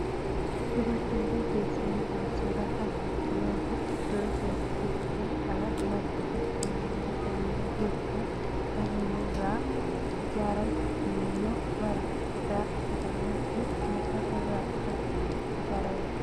Dubartiin kun teessee midhaan soraa kan jirtu yoo ta'u iddoo isheen jirtu kana margi jira. Manni isheen bira jirtu kan inni ijaarame biyyoo, Marga citaa jedhamuu fi muka irraa kan ijaaramedha.